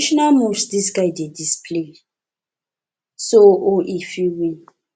na traditional moves dis guy dey display so o e fit win